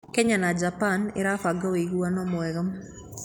Kenya na Japan ĩrabanga wĩiguano mwega.